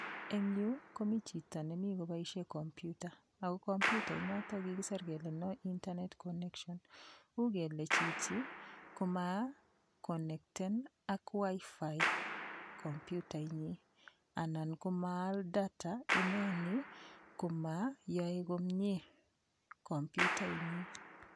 Eng' yu komi chito nemi koboishe komputa ako komputainoto kokikiser kele no internet connection uu kele chichi komakonekten ak WiFi komputai nyi anan komaal data ineni komayoei komyee komputainyi